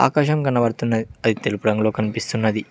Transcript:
ఆకాశం కనబడుతున్నది అది తెలుపు రంగులో కనిపిస్తున్నది.